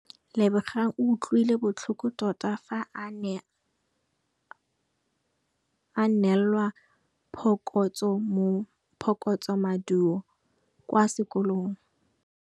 Lebogang o utlwile botlhoko tota fa a neelwa phokotsômaduô kwa sekolong.